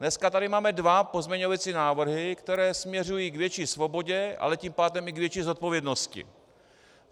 Dneska tady máme dva pozměňovací návrhy, které směřují k větší svobodě, ale tím pádem i k větší zodpovědnosti.